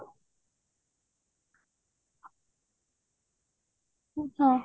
ହଁ